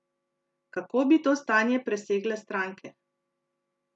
Kako bi to stanje presegle stranke?